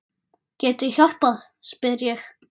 Get ég hjálpað spyr ég.